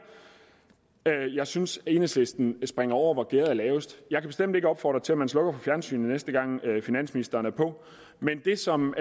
der jeg synes at enhedslisten springer over hvor gærdet er lavest jeg kan bestemt ikke opfordre til at man slukker for fjernsynet næste gang finansministeren er på det som